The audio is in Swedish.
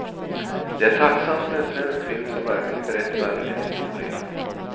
Det är tacksamt med en svensk film som verkligen berättar en historia.